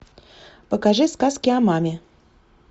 покажи сказки о маме